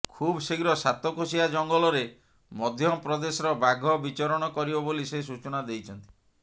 ଖୁବ୍ ଶୀଘ୍ର ସାତକୋଶିଆ ଜଙ୍ଗଲରେ ମଧ୍ୟପ୍ରଦେଶର ବାଘ ବିଚରଣ କରିବ ବୋଲି ସେ ସୂଚନା ଦେଇଛନ୍ତି